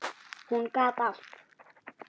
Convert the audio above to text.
Hún gat allt.